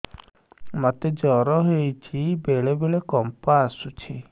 ମୋତେ ଜ୍ୱର ହେଇଚି ବେଳେ ବେଳେ କମ୍ପ ଆସୁଛି